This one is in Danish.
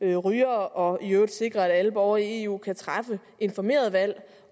rygere og i øvrigt sikre at alle borgere i eu kan træffe informerede valg